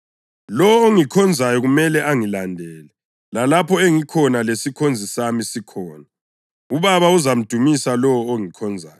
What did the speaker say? Lowo ongikhonzayo kumele angilandele, lalapho engikhona lesikhonzi sami sikhona. UBaba uzamdumisa lowo ongikhonzayo.